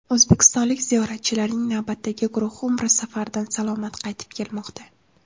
O‘zbekistonlik ziyoratchilarning navbatdagi guruhi Umra safaridan salomat qaytib kelmoqda.